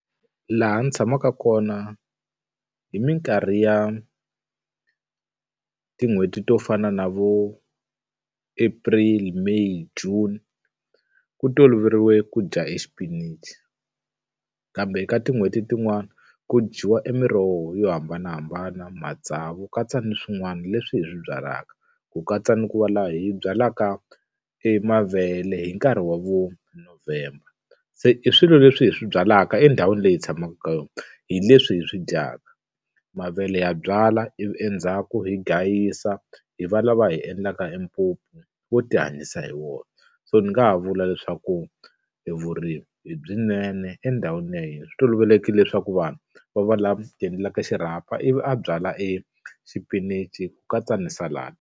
Laha ndzi tshamaka kona, hi mikarhi ya tin'hweti to fana na vo April, May, June ku toloverile ku dya exipinichi. Kambe eka tin'hweti tin'wani ku dyiwa emiroho yo hambanahambana, matsavu, ku katsa ni swin'wana leswi hi swi byalaka. Ku katsa ni ku va laha hi byalaka emavele hi nkarhi wa vo November. Se i swilo leswi hi swi byalaka endhawini leyi hi tshamaka ka yona, hi leswi hi swi dyaka. Mavele ya byalwa ivi endzhaku hi gayisa, hi va lava hi endlaka wo ti hanyisa hi wona. So ni nga ha vula leswaku e vurimi i byinene endhawini ya hina, swi tolovelekeke leswaku vanhu va va lava ti endlelaka xirhapa ivi a byala exipinichi ku katsa ni .